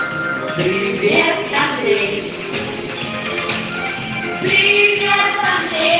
верёвки